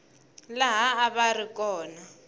laha a va ri kona